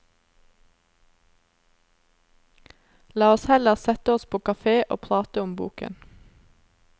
La oss heller sette oss på kafé og prate om boken.